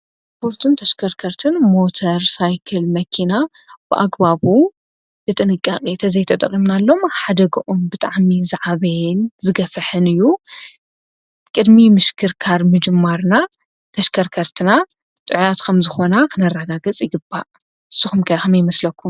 ጶርቱን ተሽከርከርትን ሞተር ሳይክል መኪና ብኣግባቡ ጥንቃ ቤተ ዘይተጠቕምናሎም ሓደግኦም ብጥዕሚ ዝዓበየን ዝገፍሕን እዩ። ቅድሚ ምሽክርካር ምጅማርና ተሽከርከርትና ጥዕያት ከም ዝኾና ኽነራጋ ገጽ ይግባእ ። ስኹምከኸም ይመስለኩ?